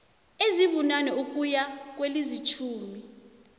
ezibunane ukuya kwezilitjhumi